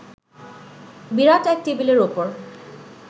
বিরাট এক টেবিলের ওপর